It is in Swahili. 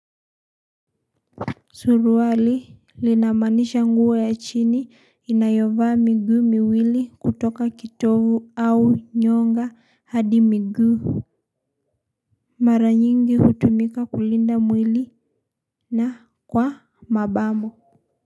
Suruali linamanisha nguo ya chini inayovaa miguu miwili kutoka kitovu au nyonga hadi miguu. Mara nyingi hutumika kulinda mwili na kwa mabamo.